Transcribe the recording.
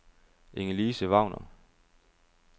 Ingelise Wagner